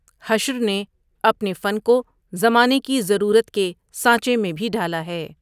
حشر نے اپنے فن کو زمانے کی ضرورت کے سانچے میں بھی ڈھالا ہے ۔